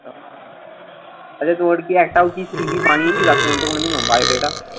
আচ্ছা, তোমার কি একটাও কি CV বানিয়েছি last আজ পর্যন্ত কোনোদিনও? biodata